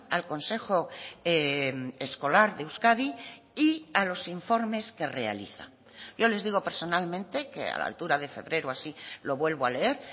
al consejo escolar de euskadi y a los informes que realiza yo les digo personalmente que a la altura de febrero o así lo vuelvo a leer